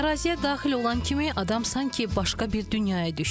Əraziyə daxil olan kimi adam sanki başqa bir dünyaya düşür.